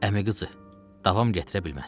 Əmi qızı, davam gətirə bilməzsən.